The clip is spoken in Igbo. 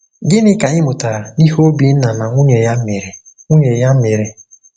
Gịnị ka anyị mụtara n’ihe Obinna na nwunye ya mere? nwunye ya mere?